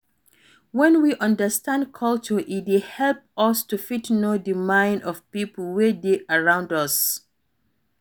When we understand culture e dey help us to fit know di mind of pipo wey dey around us